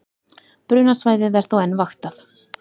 Brunasvæðið er þó enn vaktað